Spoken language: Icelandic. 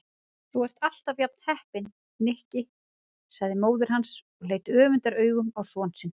Þú ert alltaf jafn heppinn, Nikki sagði móðir hans og leit öfundaraugum á son sinni.